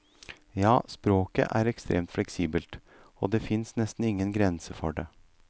Ja, språket er ekstremt fleksibelt, og det finnes nesten ingen grenser for det.